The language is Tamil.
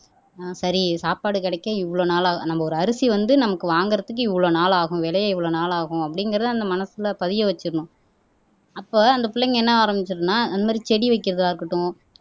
ஆஹ் சரி சாப்பாடு கிடைக்க இவ்வளவு நாளாகும் நம்ம ஒரு அரிசி வந்து நமக்கு வாங்குறதுக்கு இவ்வளவு நாளாகும் விளையே இவ்வளவு நாள் ஆகும் அப்படிங்கிறதை அந்த மனசுல பதிய வச்சிடணும் அப்ப அந்த பிள்ளைங்க என்ன ஆரம்பிச்சிரும்ன்னா இந்த மாறி செடி வைக்கிறதா இருக்கட்டும்